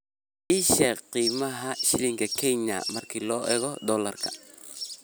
ii sheeg qiimaha shilinka kenya marka loo eego dollarka